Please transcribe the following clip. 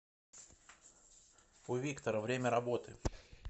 у виктора время работы